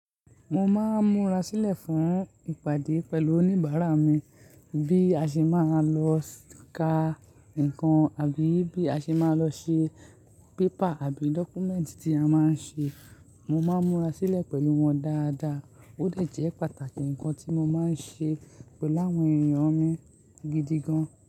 Mo máa ń múra sílẹ̀ fún ìpàdé pẹ̀lú oníbàárà mi bí a ṣe máa lọ ka nǹkan àbí bí a ṣe máa lọ ṣe bébà àbí documentary tí a máa ń ṣe. Mo máa ń múra sílẹ̀ pẹ̀lú wọn dáadáa. Ó dẹ̀ jẹ́ pàtàkì nǹkan tí mo máa ń ṣe pẹ̀lú àwọn èèyàn mi gidi gan.